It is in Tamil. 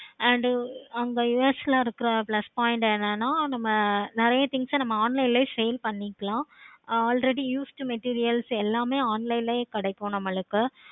and அங்க US ல இருக்குற plus point ல இருக்குற நம்ம நெறைய things ஆஹ் நம்ம online ல sale பண்ணிக்கலாம் already used materials online லையே எல்லாமே கிடைக்கும் நம்மளுக்கு